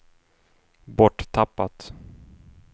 borttappat